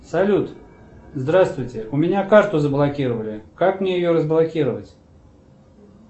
салют здравствуйте у меня карту заблокировали как мне ее разблокировать